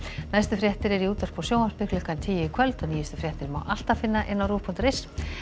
næstu fréttir eru í útvarpi og sjónvarpi klukkan tíu í kvöld og nýjustu fréttir má alltaf finna á rúv punktur is